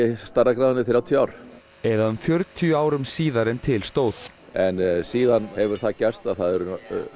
stærðargráðunni þrjátíu ár eða um fjörutíu árum síðar en til stóð en síðan hefur það gerst að það eru